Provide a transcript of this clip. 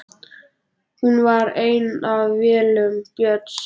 Hún var ein af vélum Björns